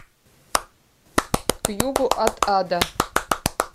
к югу от ада